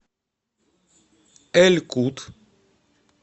эль кут